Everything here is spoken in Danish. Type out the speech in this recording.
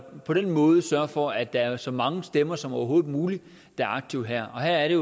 på den måde sørger de for at der er så mange stemmer som overhovedet muligt der er aktive her og her er